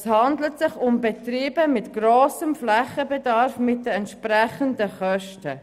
Es handelt sich um Betriebe mit grossem Flächenbedarf und entsprechenden Kosten.